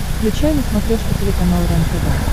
включай на смотрешке телеканал рентв